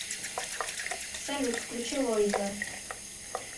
салют включи лойза